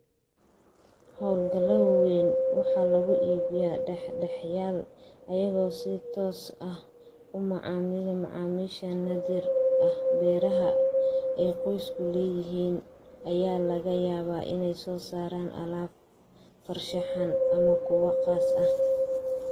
Hawlgallada waaweyn waxa lagu iibiyaa dhex dhexaadiyayaal, iyaga oo si toos ah ula macaamilaya macaamiisheeda naadir ah. Beeraha ay qoysku leeyihiin ayaa laga yaabaa inay soo saaraan alaab farshaxan ama kuwo khaas ah.